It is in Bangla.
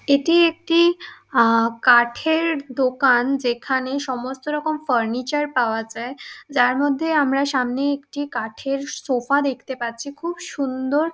এটি একটি আ কাঠের দোকান। যেখানে সমস্ত রকম ফার্নিচার পাওয়া যায়। যার মধ্যে আমরা সামনে একটি কাঠের শোফা দেখতে পাচ্ছি খুব সুন্দর।